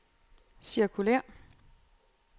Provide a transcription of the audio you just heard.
cirkulér